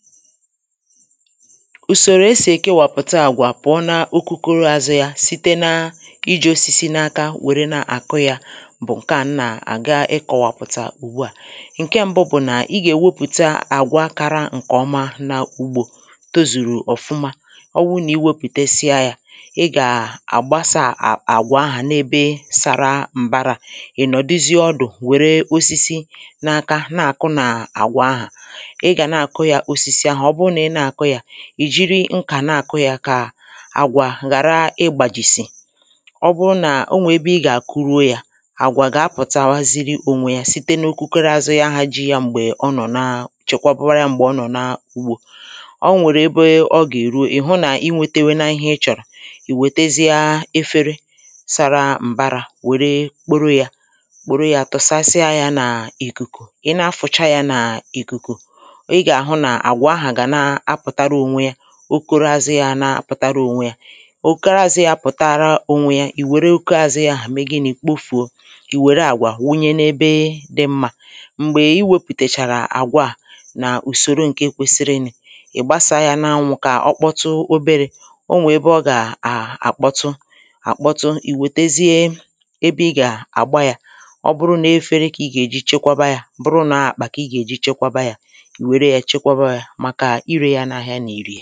Ùsòrò esì èkewàpùta àgwà pụ̀ọ na okokoro azụ yā site na ijī osisi n’aka wère na-àkụ yā bụ̀ ǹkè a m nà-àga ịkọ̀wàpụ̀tà ùgbuà ǹke m̀bụ bụ̀ nà ị gà èwepụ̀ta àgwa kara ǹkè ọma na ugbō tozùrù ọ̀fụma ọ wụ nà ị wepụ̀tesịa yā ị gà àgbasā à àgwà ahà n’ebe sara m̀barā ị nọ̀duzie ọdụ̀ wère osisi n’aka na-àkụ nà àgwà ahà ị gà na-àkụ yā osisi ahụ̀ ọ bụ nà ị na-àkụ yā ị̀ jìrì nkà na-àkụ yā kà àgwà ghara ịgbàjìsị̀ ọ bụ nà onwe ebe ị gà-àkụruo yā àgwà gà-apụ̀tawaziri onwe ya site n’okokoro azụ ya ahā ji ya m̀gbè ọ nọ̀ na chekwabara yā m̀gbè ọ nọ̀ na ugbō o nwèrè ebe ọ gà-èruo ị̀ hụ nà ị nwetewena ihe ị chọ̀rọ̀ ị wètezịa efere sara m̀barā wère kporo yā kporo yā tụ̀sasịa yā nà ìkùkù ị na afụ̀cha yā nà ìkùkù ị gà-àhụ nà àgwà ahà gà na-apụ̀tara ònwe yā okoro azụ yā ana-apụ̀tara onwe ya okoro àzụ yā pụ̀tara ònwe ya ị̀ wère okoro àzụ yā ahà me gịnị̄ kpofùo ị̀ wère àgwà wụnye n’ebe dị mmā m̀gbè ị wepụ̀tèchàrà àgwà a nà ùsòro ǹke kwesiri ni ị̀ gbasā yā n’anwụ̄ kà ọ kpọtu oberē o nwè ebe ọ gà à àkpọtu àkpọtu ị̀ wètezie ebe ị gà àgba yā ọ bụrụ n’efere kà ị gà-èji chekwaba yā ọ bụrụ nọ àkpà kà ị gà-èji chekwaba yā ị wère yā chekwaba yā màkà irē ya n’ahịa nà irī